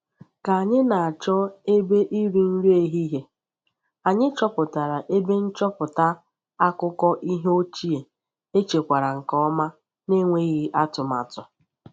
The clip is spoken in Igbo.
Ka anyị na-achọ ebe iri nri ehihie, anyị chọpụtara ebe nchọpụta akụkọ ihe ochie echekwara nke ọma n’enweghị atụmatụ.